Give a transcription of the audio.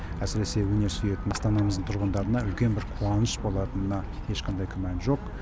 әсіресе өнер сүйетін астанамыздың тұрғындарына үлкен бір қуаныш болатынына ешқандай күмән жоқ